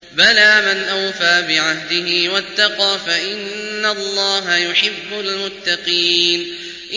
بَلَىٰ مَنْ أَوْفَىٰ بِعَهْدِهِ وَاتَّقَىٰ فَإِنَّ اللَّهَ يُحِبُّ الْمُتَّقِينَ